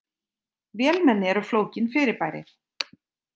Vélmenni eru flókin fyrirbæri.